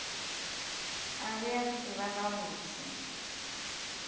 a be a tseba gabotse